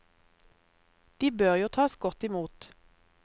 De bør jo tas godt imot.